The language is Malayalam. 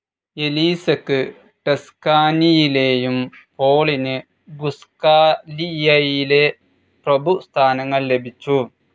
എലീസക്ക് ടസ്കാനിയിലേയും പോളിന് ഗുസ്ഖാലിയയിലെ പ്രഭ്വി സ്ഥാനങ്ങൾ ലഭിച്ചു.